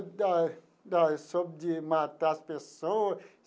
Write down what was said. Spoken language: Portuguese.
Da da sobre de matar as pessoa.